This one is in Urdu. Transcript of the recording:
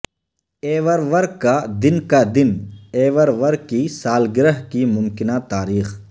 ایورور کا دن کا دن ایورور کی سالگرہ کی ممکنہ تاریخ